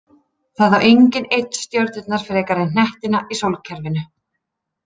Það á enginn einn stjörnurnar frekar en hnettina í sólkerfinu.